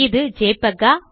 இது ஜெபிஇஜி ஆ